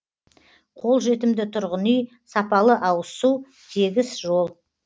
қолжетімді тұрғын үй сапалы ауызсу тегіс жол